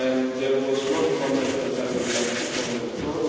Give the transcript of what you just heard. There was one comment that I would like to comment on.